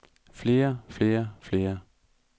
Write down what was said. flere flere flere